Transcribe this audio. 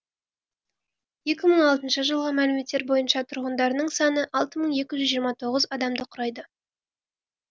екі мың алты жылғы мәліметтер бойынша тұрғындарының саны алты мың екі жүз жиырма тоғыз адамды құрайды